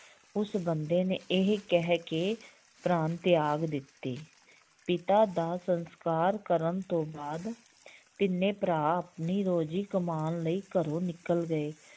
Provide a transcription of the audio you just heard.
ਉਸ ਬੰਦੇ ਨੇ ਇਹ ਕਹਿ ਕੇ ਪਰਾਣ ਤਿਆਗ ਦਿੱਤੇ ਪਿਤਾ ਦਾ ਸੰਸਕਾਰ ਕਰਨ ਤੋਂ ਬਾਅਦ ਤਿੰਨੇ ਭਰਾ ਆਪਣੀ ਰੋਜ਼ੀ ਕਮਾਉਣ ਲਈ ਘਰੋਂ ਨਿਕਲ ਗਏ